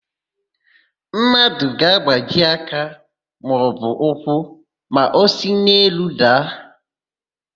Mmadụ ga-agbaji aka maọbụ ụkwụ ma o si n'elu daa.